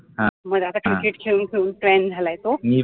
मग आता cricket खेळून खेळून fan झालाय तो